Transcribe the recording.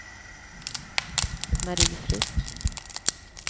Mari Frisk